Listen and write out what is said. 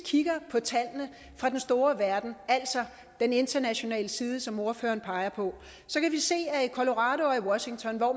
kigger på tallene fra den store verden altså den internationale side som ordføreren peger på kan vi se at i colorado og washington hvor